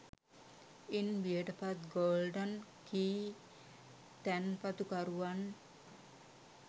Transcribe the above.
ඉන් බියට පත් golden key තැන්පතුකරුවන්